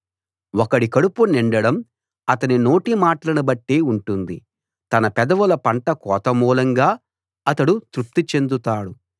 ఒకడి కడుపు నిండడం అతని నోటి మాటలను బట్టే ఉంటుంది తన పెదవుల పంట కోత మూలంగా అతడు తృప్తిచెందుతాడు